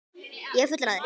Ég er fullur af þér.